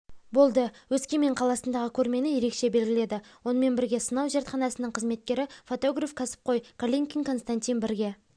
болды өскемен қаласындағы көрмені ерекше белгіледі онымен бірге сынау зертханасының қызметкері фотограф кәсіпқой калинкин константин бірге